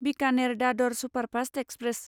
Bikaner Dadar superfast express